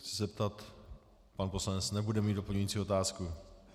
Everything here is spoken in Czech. Chci se zeptat - pan poslanec nebude mít doplňující otázku.